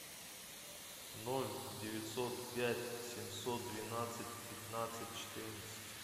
ноль девятьсот пять семьсот двенадцать пятнадцать четырнадцать